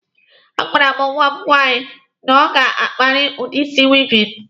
A gwara m nwa m nwaanyi na ọ ga-akparịrị udi isi weaving.